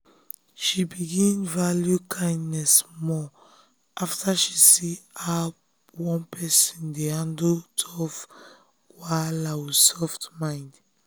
she begin value kindness more after she see how one person dey handle tough wahala with soft mind.